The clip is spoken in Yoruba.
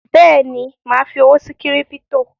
Bẹ́ẹ̀ni, mà á fi owó sí kírípítò